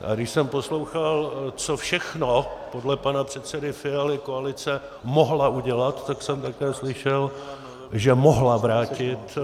A když jsem poslouchal, co všechno podle pana předsedy Fialy koalice mohla udělat, tak jsem také slyšel, že mohla vrátit